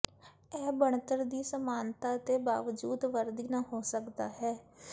ਇਹ ਬਣਤਰ ਦੀ ਸਮਾਨਤਾ ਦੇ ਬਾਵਜੂਦ ਵਰਦੀ ਨਾ ਹੋ ਸਕਦਾ ਹੈ